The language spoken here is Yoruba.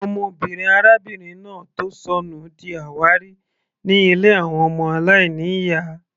Ọmọbìnrin arábìnrin náà tó sọnù di àwárí ní ilé àwọn ọmọ aláìní ìyá.